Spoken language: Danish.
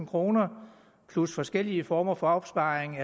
kroner plus forskellige former for opsparing